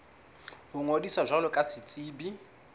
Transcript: ho ngodisa jwalo ka setsebi